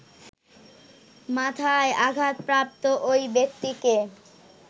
মাথায় আঘাতপ্রাপ্ত ঐ ব্যক্তিকে